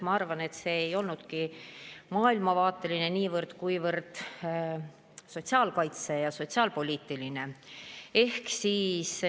Ma arvan, et see ei olnudki niivõrd maailmavaateline, kuivõrd sotsiaalkaitseline ja sotsiaalpoliitiline küsimus.